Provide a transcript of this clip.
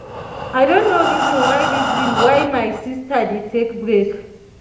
i don know reason why reason why my sister dey take break